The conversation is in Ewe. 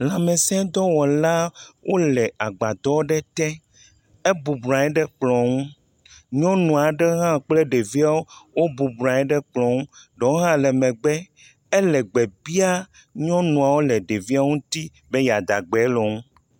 Lãmesẽ dɔwɔla aɖe, wole agbadɔ ɖe te, ebɔbɔ nɔ anyi ɖe kplɔ ŋu. Nyɔnu aɖe hã kple ɖeviwo wobɔbɔ nɔ anyiɖe kplɔ ŋu, ɖewo hã megbe, ele gbe biam nyɔnuawo le ɖeviewo ŋuti be yeada gbe le wo ŋu.